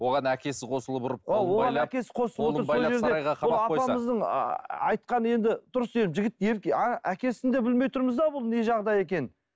оған әкесі қосылып ұрып айтқан енді дұрыс енді жігіт әкесін де білмей тұрмыз да бұл не жағдай екенін